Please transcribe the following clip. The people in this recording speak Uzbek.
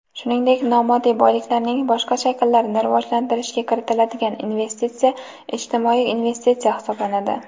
shuningdek nomoddiy boyliklarning boshqa shakllarini rivojlantirishga kiritiladigan investitsiya ijtimoiy investitsiya hisoblanadi.